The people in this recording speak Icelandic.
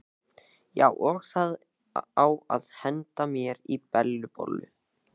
Já, og það á að henda mér í Bellu bollu.